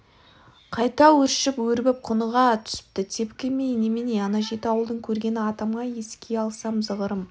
қайта өршіп өрбіп құныға түсіпті тепкі емей немене ана жеті ауылдың көргені атама еске алсам зығырым